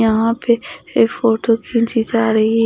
यहां पे ये फोटो खींची जा रही--